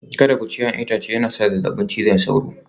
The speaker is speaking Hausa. Kada ku ci 'ya'yan itace yayin shan maganin zazzabin cizon sauro